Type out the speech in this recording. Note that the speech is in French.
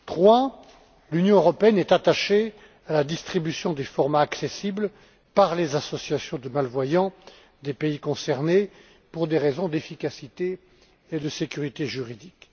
Troisième point, l'Union européenne est attachée à la distribution des formats accessibles par les associations de malvoyants des pays concernés, pour des raisons d'efficacité et de sécurité juridique.